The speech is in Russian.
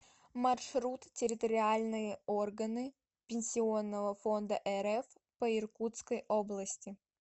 маршрут территориальные органы пенсионного фонда рф по иркутской области